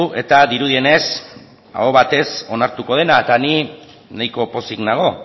eta dirudienez aho batez onartuko dena eta ni nahiko pozik nago